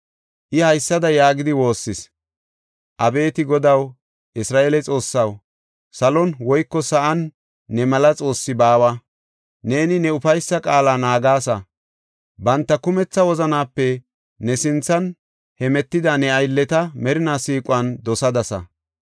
I haysada yaagidi woossis: “Abeeti Godaw, Isra7eele Xoossaw, salon woyko sa7an ne mela xoossi baawa. Neeni ne ufaysa qaala naagasa; banta kumetha wozanaape ne sinthan hemetida ne aylleta merina siiquwan dosadasa.